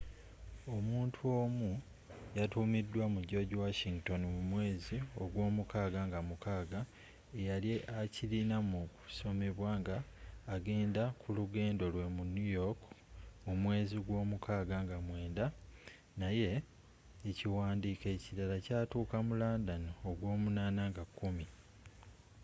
omuntu omu yatumidwa mu george washington mu mwezi ogw'omukaga nga 6 eyali akirina mu kusomebwa nga agenda kulugendo lwe mu new york mu mwezi gw'omukaga nga 9 naye ekiwandiiko ekilala kyatuka mu london ogw'omunana nga 10